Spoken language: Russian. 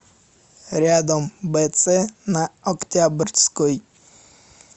рядом бц на октябрьской